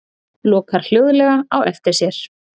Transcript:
Lokar hljóðlega á eftir sér.